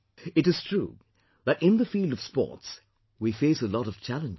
It is true that in the field of sports we face a lot of challenges